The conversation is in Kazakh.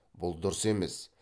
бұл дұрыс емес